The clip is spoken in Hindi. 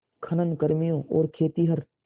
खनन कर्मियों और खेतिहर